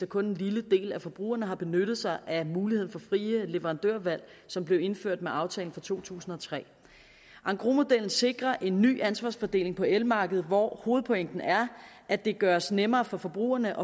kun en lille del af forbrugerne har benyttet sig af den mulighed for frit leverandørvalg som blev indført med aftalen fra to tusind og tre engrosmodellen sikrer en ny ansvarsfordeling på elmarkedet hvor hovedpointen er at det gøres nemmere for forbrugerne